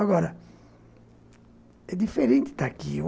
Agora, é diferente estar aqui.